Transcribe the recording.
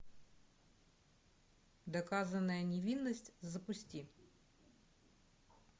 доказанная невинность запусти